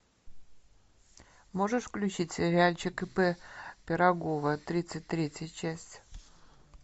можешь включить сериальчик ип пирогова тридцать третья часть